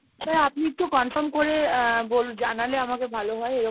sir আপনি একটু confirm করে আহ বল ⁓ জানালে আমাকে ভালো হয়। এরকম